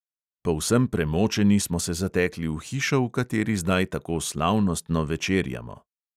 Povsem premočeni smo se zatekli v hišo, v kateri zdaj tako slavnostno večerjamo.